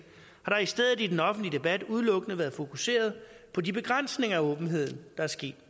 har der i stedet i den offentlige debat udelukkende været fokuseret på de begrænsninger af åbenheden der er sket